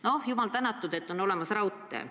No jumal tänatud, et on olemas raudtee.